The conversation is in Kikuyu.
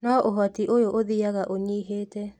No ũhoti ũyũ ũthiaga ũnyihĩte